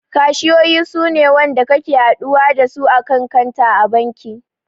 Kashiyoyi suna wanda kake haɗuwa dasu a kan kanta a banki